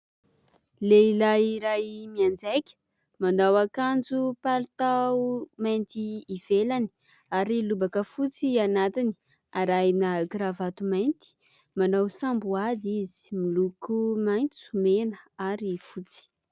Lehilahy iray mianjaika. Manao akanjo palitao mainty ivelany ary lobaka fotsy anatiny, arahina kiravato mainty. Manao samboady izy ; miloko maitso, mena ary fotsy.